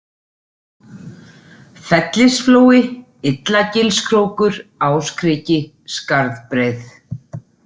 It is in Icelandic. Fellisflói, Illagilskrókur, Áskriki, Skarðbreið